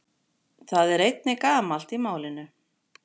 Það er einnig gamalt í málinu.